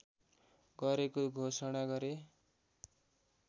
गरेको घोषणा गरे